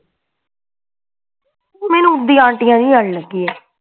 ਮੈਂਨੂੰ ਓਦਾਂ ਹੀ ਆਨਟੀਆ ਜੀ ਵਾਲੀ ਲੱਗੀ ਆ